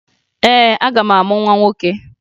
Ee, aga m amụ nwa nwoke